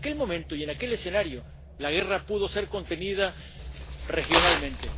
Pero en aquel momento y en aquel escenario la guerra pudo ser contenida regionalmente.